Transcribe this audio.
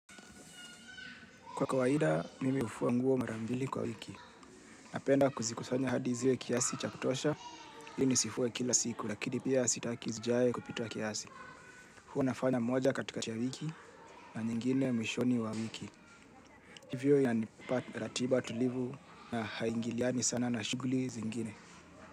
Kwa kawaida, mimi hufua nguo mara mbili kwa wiki. Napenda kuzikusanya hadi ziwe kiasi cha kutosha. Ili nisifue kila siku. Lakini pia sitaki zijae kupita kiasi. Huwa nafanya moja katikati ya wiki na nyingine mwishoni wa wiki. Hivyo yanipa ratiba tulivu na haingiliani sana na shughuli zingine.